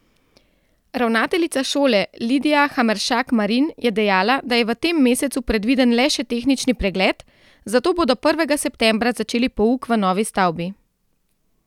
Ravnateljica šole Lidija Hameršak Marin je dejala, da je v tem mesecu predviden le še tehnični pregled, zato bodo prvega septembra začeli pouk v novi stavbi.